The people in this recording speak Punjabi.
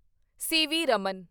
ਸੀ.ਵੀ. ਰਮਨ